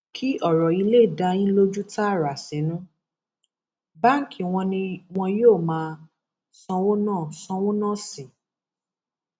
kí ọrọ yìí lè dá yín lójú tààrà sínú báǹkì wọn ni wọn yóò máa sanwó náà sanwó náà sí